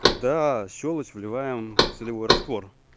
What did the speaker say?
когда щёлочь вливаем в солевой раствор